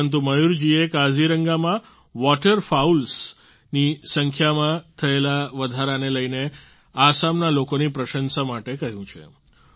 પરંતુ મયૂર જીએ કાઝીરંગામાં વોટર ફાઉલ્સ વોટર ફાઉલ્સ ની સંખ્યામાં થયેલા વધારાને લઈને આસામના લોકોની પ્રશંસા માટે કહ્યું છે